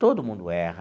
Todo mundo erra.